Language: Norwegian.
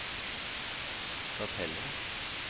Stathelle